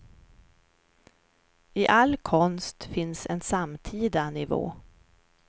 I all konst finns en samtida nivå.